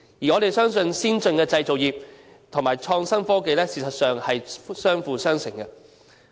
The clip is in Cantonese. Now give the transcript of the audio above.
我們相信先進的製造業及創新科技，事實上是相輔相成的。